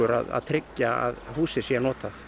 að tryggja að húsið sé notað